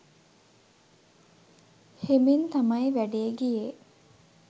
හිමින් තමයි වැඩේ ගියේ